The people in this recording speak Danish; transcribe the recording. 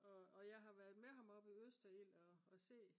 og og jeg har været med ham oppe i Østerild og se